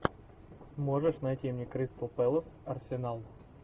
можешь найти мне кристал пэлас арсенал